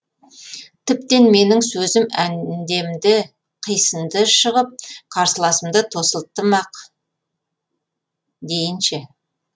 тіптен менің сөзім әндемді қисынды шығып қарсыласымды тосылттым ақ дейінші